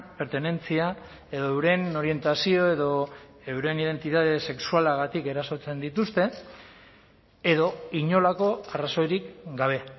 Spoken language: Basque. pertenentzia edo euren orientazio edo euren identitate sexualagatik erasotzen dituzte edo inolako arrazoirik gabe